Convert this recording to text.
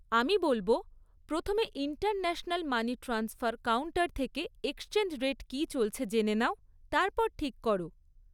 আমি বলব, প্রথমে ইন্টারন্যাশনাল মানি ট্রান্সফার কাউন্টার থেকে এক্সচেঞ্জ রেট কী চলছে জেনে নাও, তারপর ঠিক কর।